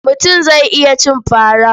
Mutum zai iya cin fara.